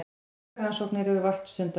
Slíkar rannsóknir eru vart stundaðar.